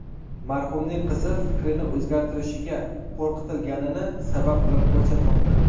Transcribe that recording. Marhumning qizi fikrini o‘zgartirishiga qo‘rqitilganini sabab qilib ko‘rsatmoqda.